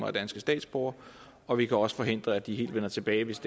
er danske statsborgere og vi kan også forhindre at de helt vender tilbage hvis